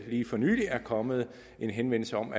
lige for nylig er kommet en henvendelse om